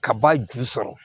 Ka ba ju sɔrɔ